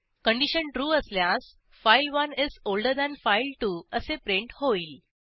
condition true असल्यास file one is older than file two असे print होईल